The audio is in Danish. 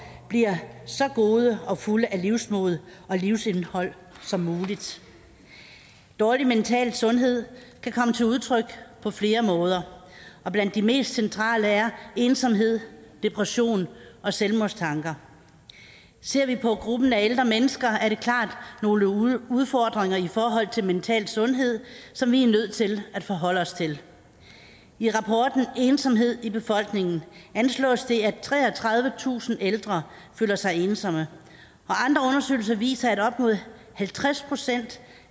bliver så gode og fulde af livsmod og livsindhold som muligt dårlig mental sundhed kan komme til udtryk på flere måder og blandt de mest centrale er ensomhed depression og selvmordstanker ser vi på gruppen af ældre mennesker er der klart nogle udfordringer i forhold til mental sundhed som vi er nødt til at forholde os til i rapporten ensomhed i befolkningen anslås det at treogtredivetusind ældre føler sig ensomme og viser at op mod halvtreds procent